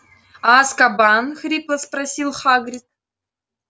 а азкабан хрипло спросил хагрид